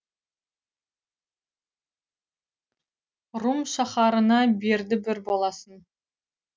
рум шаһарына берді бір баласын